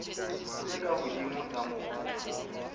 tse ka hodimo tsa mobu